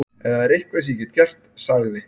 Ef það er eitthvað sem ég get gert- sagði